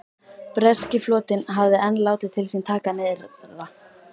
Breski flotinn hafði enn látið til sín taka nyrðra.